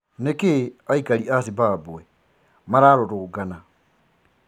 Nikii aikari aa Zimbabwe mararurũgana?